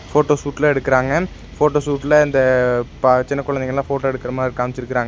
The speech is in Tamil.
ஃபோட்டோ ஷுட்லா எடுக்கறாங்க ஃபோட்டோ ஷுட்ல இந்த ப சின்ன குழந்தைங்கெல்லா ஃபோட்டோ எடுக்கற மாரி காம்ச்சிருக்கறாங்--